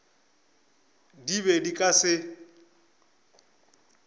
di be di ka se